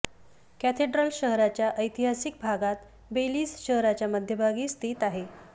cathedral शहराच्या ऐतिहासिक भागात बेलिझ शहराच्या मध्यभागी स्थित आहे